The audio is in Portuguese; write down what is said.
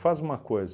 uma coisa.